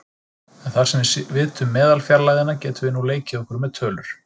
En þar sem við vitum meðalfjarlægðina getum við nú leikið okkur með tölur.